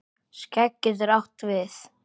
Skegg getur átt við